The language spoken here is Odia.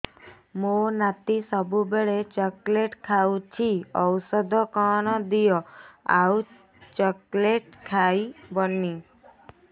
ମୋ ନାତି ସବୁବେଳେ ଚକଲେଟ ଖାଉଛି ଔଷଧ କଣ ଦିଅ ଆଉ ଚକଲେଟ ଖାଇବନି